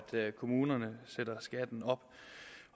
kommunerne sætter skatten op